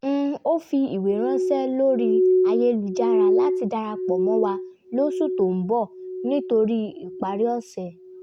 ó fi ìwé ránṣẹ́ lórí ayélujára láti darapọ̀ mọ́ wa lóṣù tó ń bọ̀ nítorí ìparí ọ̀sẹ̀